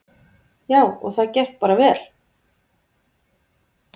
Já, og það gekk bara vel.